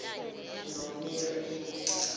nomeremo